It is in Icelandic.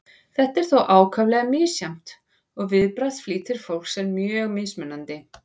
þetta er þó ákaflega misjafnt og viðbragðsflýtir fólks er mjög mismunandi